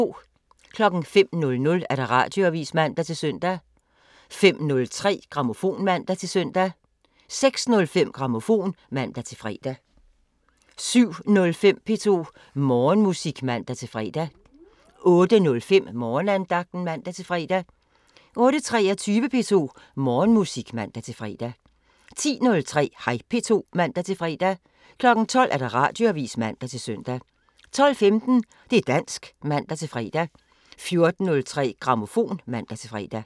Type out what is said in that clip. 05:00: Radioavisen (man-søn) 05:03: Grammofon (man-søn) 06:05: Grammofon (man-fre) 07:05: P2 Morgenmusik (man-fre) 08:05: Morgenandagten (man-fre) 08:23: P2 Morgenmusik (man-fre) 10:03: Hej P2 (man-fre) 12:00: Radioavisen (man-søn) 12:15: Det' dansk (man-fre) 14:03: Grammofon (man-fre)